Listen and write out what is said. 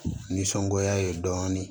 Nisɔngoya ye dɔɔnin